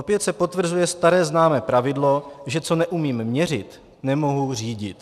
Opět se potvrzuje staré známé pravidlo, že co neumím měřit, nemohu řídit.